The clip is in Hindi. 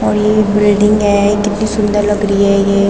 और ये बिल्डिंग है कितनी सुंदर लग रही है ये।